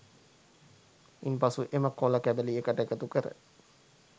ඉන් පසු එම කොළ කැබලි එකට එකතු කර